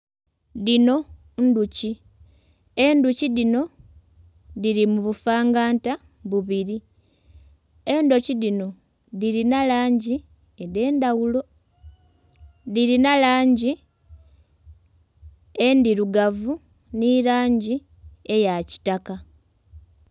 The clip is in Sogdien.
Dhino ndhuki. Endhuki dhino dhiri mu bufanganta bubiri. Endhuki dhino dhilina langi edh'endhaghulo. Dhilina langi endhirugavu nhi langi eya kitaka.